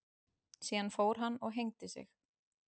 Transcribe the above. Síðan fór hann og hengdi sig.